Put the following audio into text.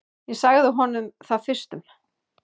Ég sagði honum það fyrstum.